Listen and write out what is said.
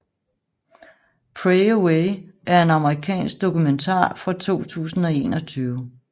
Pray Away er en amerikansk dokumentar fra 2021